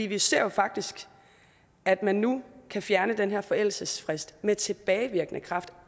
vi ser jo faktisk at man nu kan fjerne den her forældelsesfrist med tilbagevirkende kraft